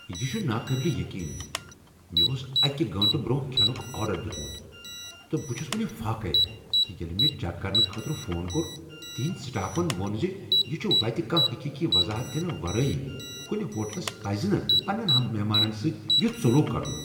یہٕ چھ ناقابل یقین۔ مےٚ اوس اکہ گٲنٹہٕ برٛونہہ کھینُک آرڈر دیتمت، تہٕ بہٕ چھس وٕنہ فاقے۔ تہٕ ییٚلہ مےٚ چیک کرنہٕ خٲطرٕ فون کوٚر، تہندۍ سٹافن ووٚن ز یہ چھ وتہِ کانٛہہ حقیقی وضاحت دنہٕ ورٲے۔ کُنہ ہوٹلس پَزِنہٕ پنٛنین مہمانن سۭتۍ یتھ سلوک کرن۔